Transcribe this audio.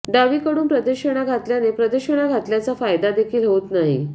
डावीकडून प्रदक्षिणा घातल्याने प्रदक्षिणा घालत्याचा फायदा देखील होत नाही